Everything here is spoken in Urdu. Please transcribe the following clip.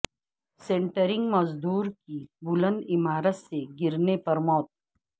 سینٹرنگ مزدور کی بلند عمارت سے گرنے پر موت